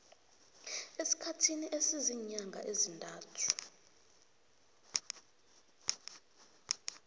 esikhathini esiziinyanga ezintathu